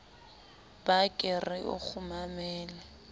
ba ke re o nkgumamele